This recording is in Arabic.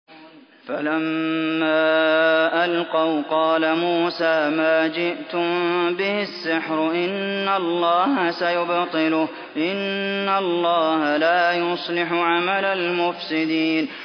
فَلَمَّا أَلْقَوْا قَالَ مُوسَىٰ مَا جِئْتُم بِهِ السِّحْرُ ۖ إِنَّ اللَّهَ سَيُبْطِلُهُ ۖ إِنَّ اللَّهَ لَا يُصْلِحُ عَمَلَ الْمُفْسِدِينَ